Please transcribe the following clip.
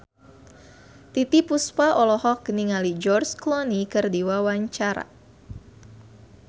Titiek Puspa olohok ningali George Clooney keur diwawancara